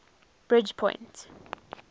bridgepoint